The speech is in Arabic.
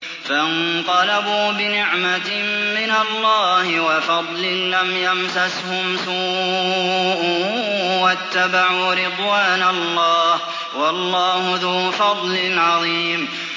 فَانقَلَبُوا بِنِعْمَةٍ مِّنَ اللَّهِ وَفَضْلٍ لَّمْ يَمْسَسْهُمْ سُوءٌ وَاتَّبَعُوا رِضْوَانَ اللَّهِ ۗ وَاللَّهُ ذُو فَضْلٍ عَظِيمٍ